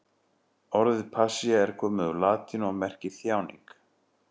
Orðið passía er komið úr latínu og merkir þjáning.